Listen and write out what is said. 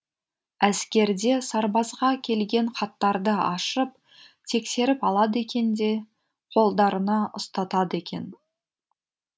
әскерде сарбазға келген хаттарды ашып тексеріп алады екен де қолдарына ұстатады екен